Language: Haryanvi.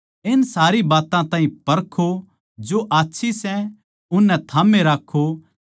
इन सारी बात्तां ताहीं परखो जो आच्छी सै उसनै थाम्बे राक्खो